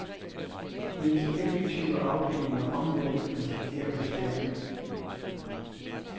Mens effektive afdelinger omvendt risikerer beskæringer.